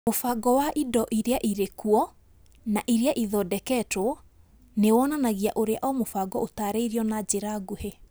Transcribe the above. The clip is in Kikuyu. Mũbango wa indo iria irĩ kuo na iria irathondekwo nĩ wonanagia ũrĩa o mũbango ũtaarĩirio na njĩra nguhĩ.